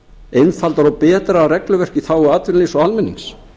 einfaldara og betra regluverk í þágu atvinnulífs og almennings